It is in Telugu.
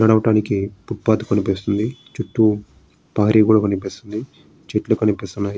నడవటానికి ఫుట పత్ కనిపిస్తుంది. చుట్టు పారి గోడ కనిపిస్తుంది. చెట్లు కనిపిస్తున్నాయి.